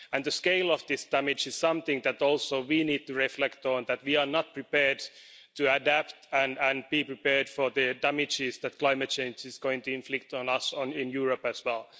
The scale of this damage is something that we also need to reflect on that we are not prepared to adapt, and be prepared for the damage that climate change is going to inflict on us in Europe as well.